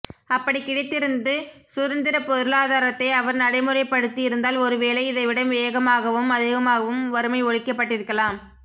அப்படிக் கிடைத்திருந்து சுதந்திரப் பொருளாதாரத்தை அவர் நடைமுறைப்படுத்தியிருந்தால் ஒருவேளை இதைவிட வேகமாகவும் அதிகமாகவும் வறுமை ஒழிக்கப்பட்டிருக்கலாம்